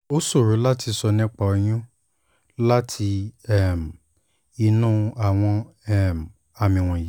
ó ṣòro láti sọ nípa oyún láti um inú àwọn um àmì wọ̀nyí